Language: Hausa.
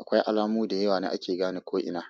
Akwai alamu da yawa ne ake gane ko ina.